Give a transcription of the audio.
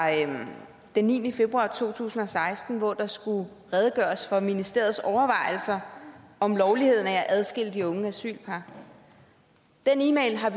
den niende februar to tusind og seksten hvor der skulle redegøres for ministeriets overvejelser om lovligheden af at adskille de unge asylpar den e mail har